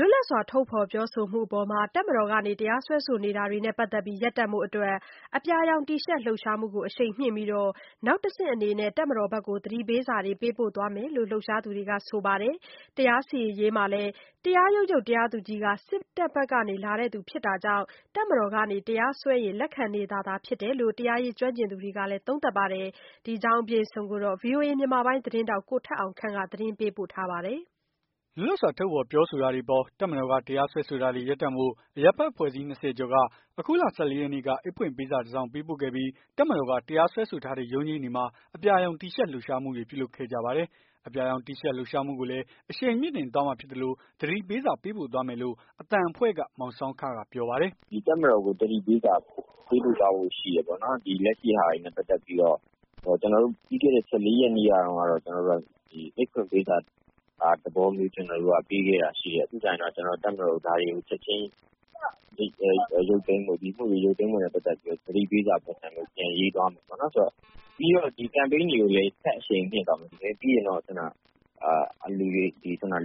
လွတ်လပ်စွာ ထုတ်ဖော်ပြောဆိုမှုအပေါ် တပ်မတော်က တရားစွဲဆိုတာတွေနဲ့ ပတ်သက်ပြီး ရပ်တန့်ဖို့အတွက် အပြာရောင်တီရှပ် လှုပ်ရှားမှုကိုအရှိန်မြှင့်ပြီး၊ နောက်တဆင့်အနေနဲ့ တပ်မတော်ဘက်ကို သတိပေးစာ ပေးပို့ သွားမယ်လို့ လှုပ်ရှားသူတွေက ဆိုပါတယ်။ တရားစီရင်ရေးမှာလည်း တရားရုံးချုပ်တရားသူကြီးက စစ်ဘက်ကနေလာသူဖြစ်တာကြောင့် တပ်မတော်က တရားစွဲရင် လက်ခံနေတာသာဖြစ်တယ်လို့ တရားရေးကျွမ်းကျင်သူတွေက သုံးသပ်ပါတယ်။ ဒီအကြောင်းကို ဗွီအိုအေ မြန်မာပိုင်းသတင်းထောက် ကိုထက်အောင်ခန့်က သတင်းပေးပို့ထားပါတယ်။ လွတ်လပ်စွာ ထုတ်ဖော် ပြောဆိုတာတွေအပေါ် တပ်မတော်က တရားစွဲဆိုတာတွေ ရပ်တန့်ဖို့ အရပ်ဖက် အဖွဲ့စည်း ၂၀ ကျော်က အခုလ ၁၄ ရက်နေ့က အိတ်ဖွင့်ပေးစာ တစောင်ပေးပို့ခဲ့ပြီး တပ်မတော်က တရားစွဲဆို ထားတဲ့ ရုံးချိန်းတွေမှာ အပြာရောင် တီရှပ် လှုပ်ရှားမှုတွေ ပြုလုပ်ခဲ့ကြပါတယ်။ အပြာရောင်တီရှပ်လှုပ်ရှားမှုကိုလည်း အရှိန်မြှင့်တင်သွားမှာဖြစ်သလို သတိပေးစာ ပေးပို့သွားမယ်လို့ အသံအဖွဲ့က မောင်ဆောင်းခက ပြောပါတယ်။ "တပ်မတော်ကို သတိပေးစာပေးပို့သွားဖို့ရှိတယ်။ လက်ရှိဟာတွေနဲ့ပတ်သက်ပြီးတော့ ပြီးခဲ့တဲ့ ၁၄ ရက်နေ့က အိတ်ဖွင့်ပေးစာသဘောမျိုး ပေးခဲ့တာမျိုးရှိတယ်။ ပြီးကျရင်တော့ တပ်မတော်ကို ဒါတွေကို ချက်ချင်း ရုပ်သိမ်း ပေးဖို့ ၊ ဒီအမှုတွေရုပ်သိမ်းပေးဖို့ ပတ်သက်ပြီးတော့ သတိပေးစာ ပုံစံမျိုး ပြန်ရေးသွားမယ်။ ပြီးတော့ ဒီကမ်ပိန်း တွေကိုလည်း ဆက်အရှိန်မြင့်သွားမယ်။ ပြီးရင်တော့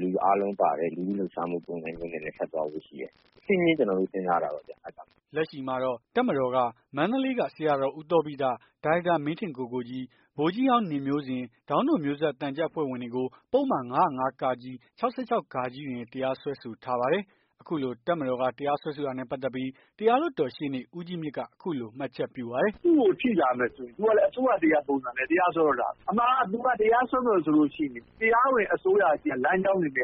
လူအားလုံးပါတဲ့ လူထု လှုပ်ရှားမှု ပုံစံမျိုးနဲ့ ထပ်သွားဖို့ ရှိတယ်။ တဆင့်ချင်း ကျွန်တော်တို့ စဉ်းစားတာပေါ့။" လက်ရှိမှာတော့ တပ်မတော်က မန္တလေးက ဆရာတော် ဦးသောဘိတ ၊ ဒါရိုက်တာ မင်းထင်ကိုကိုကြီး၊ ဗိုလ်ကြီး ဟောင်းနေမျိုးဇင် ၊ ဒေါင်းတို့ မျိုးဆက် သံချပ်အဖွဲ့ဝင်တွေကို ပုဒ်မ ၅၀၅ ၊ ၆၆ တွေနဲ့ တရားစွဲဆို ထားပါတယ်။ အခုလို တပ်မတော်က တရားစွဲဆိုတာနဲ့ ပတ်သက်ပြီး တရားလွှတ်တော်ရှေ့နေ ဦးကြီးမြင့်က အခုလို မှတ်ချက် ပြုပါတယ်။ "သူ့ကိုထိလာမယ်ဆိုရင် အစိုးရတရပ်ပုံစံနဲ့ သူကတရားစွဲတော့တာပဲ အမှန်က သူက တရားစွဲမယ်ဆိုရင် တရားဝင် အစိုးရဆီက လမ်းကြောင်းတွေနဲ့ ဥပ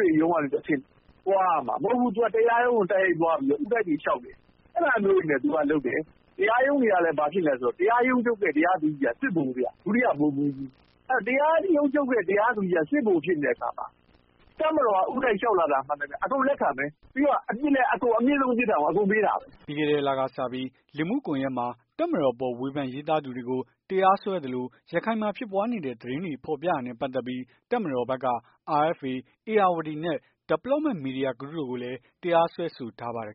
ဒေရုံးကနေတဆင့် သွားရမှာ။မဟုတ်ဘူး သူက တရားရုံးကို ဦးတိုက်တွေလျှောက်တယ်။ အဲ့ဒါမျိုးတွေနဲ့ သကလုပ်တယ်။ တရားရုံးတွေကဘာဖြစ်လည်းဆိုတော့ တရားရုံးချုပ်ရဲ့ တရားသူကြီးက စစ်ဗိုလ်ဗျ။ ဒုတိယဗိုလ်မှူးကြီး အဲ့တော့ တရားရုံးချုပ်ရဲ့ တရားသူကြီးက စစ်ဗိုလ်ဖြစ်နေတဲ့အခါမှာ တပ်မတော်က ဦးတိုက်လျှောက်လာတာ မှန်သမျှ အကုန်လက်ခံမယ် ပြီးတော့ အမြင့်ဆုံး ပြစ်ဒဏ်ကို အကုန်ပေးတာပဲ" ပြီးခဲ့တဲ့လစကပြီး လူမှုကွန်ယက်မှာ တပ်မတော်အပေါ် ဝေဖန်ရေးသားသူတွေကို တရားစွဲသလို ရခိုင်မှာဖြစ်ပွားနေတဲ့ သတင်းတွေ ဖော်ပြတာနဲ့ ပတ်သက်ပြီး တပ်မတော်ဘက်က RFA၊ ဧရာဝတီနဲ့ Development Media Group တို့ကိုလည်း တရားစွဲဆိုထားပါသေးတယ်